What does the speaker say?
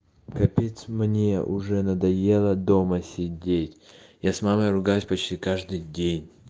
капец мне уже надоело дома сидеть я с мамой ругаюсь почти каждый день